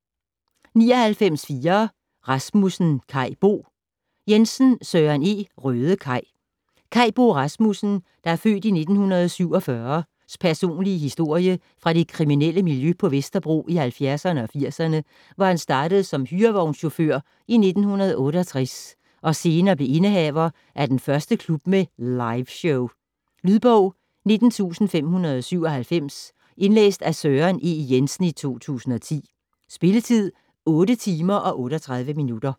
99.4 Rasmussen, Kai Bo Jensen, Søren E.: Røde Kai Kai Bo Rasmussens (f. 1947) personlige historie fra det kriminelle miljø på Vesterbro i halvfjerdserne og firserne, hvor han startede som hyrevognschauffør i 1968 og senere blev indehaver af den første klub med "liveshow". Lydbog 19597 Indlæst af Søren E. Jensen, 2010. Spilletid: 8 timer, 38 minutter.